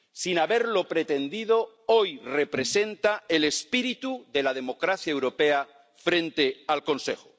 Sin haberlo pretendido, hoy representa el espíritu de la democracia europea frente al Consejo.